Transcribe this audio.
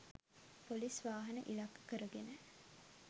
Police වාහන ඉලක්ක කර ගෙන.